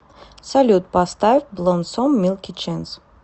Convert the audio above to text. салют поставь блоссом милки ченс